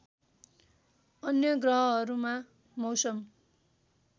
अन्य ग्रहहरूमा मौसम